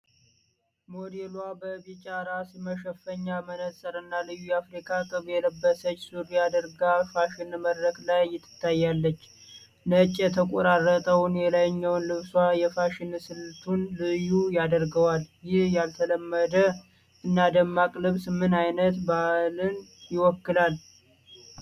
ሞዴሏ በቢጫ ራስ መሸፈኛ፣ መነፅርና ልዩ የአፍሪካ ቅብ የለበሰች ሱሪ አድርጋ ፋሽን መድረክ ላይ ትታያለች። ነጭ የተቆራረጠው የላይኛው ልብሷ የፋሽን ስልቱን ልዩ ያደርገዋል። ይህ ያልተለመደ እና ደማቅ ልብስ ምን ዓይነት ባህልን ይወክላል?